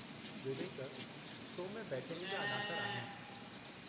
विवेक, तो में बैचेनी जा अनासर आहिनि।